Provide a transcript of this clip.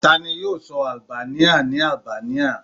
Tani yoo sọ Albania ni Albania?